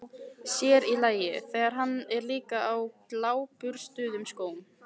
Sér í lagi, þegar hann er líka á gljáburstuðum skóm.